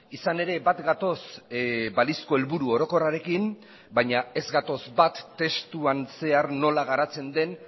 izan ere bat gatoz balizko helburu orokorrarekin baina ez gatoz bat testuan zehar nola garatzen den